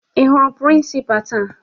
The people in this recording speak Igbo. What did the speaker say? Ị hụrụ prịnsịpaa taa?